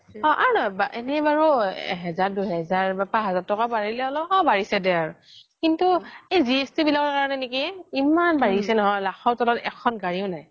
এনে বাৰু হেজাৰ দুই হেজাৰ বা পাচ হেজাৰ তকা বাঢ়িলে আৰু অ বাঢ়িছে দে আৰু কিন্তু জিএছটি বিলাকৰ কাৰনে নেকি ইমান বাঢ়িছে নহয় লাখৰ ত্ল্ত এখন গাৰিয়ে নাই